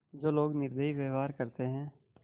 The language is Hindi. जो लोग निर्दयी व्यवहार करते हैं